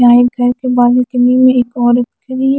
आए घर के बालकनी में एक औरत--